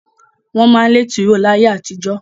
Wọ́n má ń lẹ́ tìró láyé àtijó.